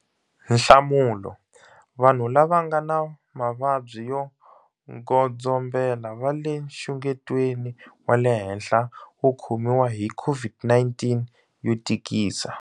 Nhlamulo- Vanhu lava nga na mavabyi yo godzo mbela va le nxungetweni wa le henhla wo khomiwa hi COVID-19 yo tikisa.